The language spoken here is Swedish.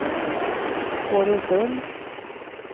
Fårösund